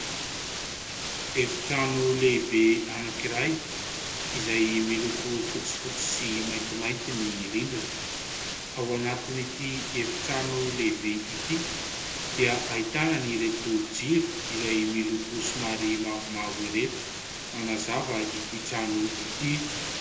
Efi-trano lehibe anankiray; izay miloko fotsifotsy sy maintimainty ny rindrina; ao anatiny ity efi-trano lehibe ity dia ahitana ireto jiro izay miloko somary mavomavo ireto manazava ity trano ity.